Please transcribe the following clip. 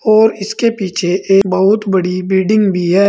और इसके पीछे एक बहुत बड़ी बिल्डिंग भी है।